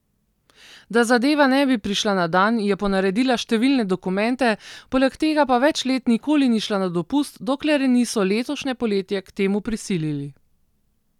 Da zadeva ne bi prišla na dan, je ponaredila številne dokumente, poleg tega pa več let nikoli ni šla na dopust, dokler je niso letošnje poletje k temu prisilili.